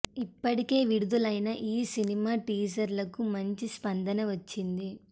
ఇప్పటికే విడుదలైన ఈ సినిమా టీజర్లకు మంచి స్పందన వచ్చింది